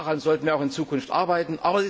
Daran sollten wir auch in Zukunft arbeiten.